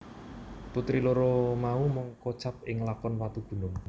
Putri loro mau mung kocap ing lakon Watugunung